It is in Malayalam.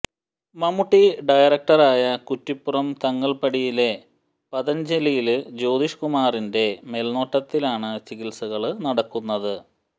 മമ്മൂട്ടി ഡയറക്ടറായ കുറ്റിപ്പുറം തങ്ങള്പ്പടിയിലെ പതഞ്ജലിയില് ജ്യോതിഷ് കുമാറിന്റെ മേല്നോട്ടത്തിലാണ് ചികിത്സകള് നടക്കുന്നത്